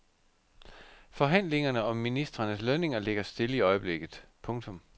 Forhandlingerne om ministrenes lønninger ligger stille i øjeblikket. punktum